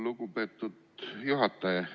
Lugupeetud juhataja!